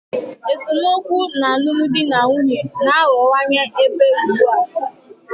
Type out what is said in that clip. Esemokwu n'alụmdi na nwunye na-aghọwanye ebe ugbu a.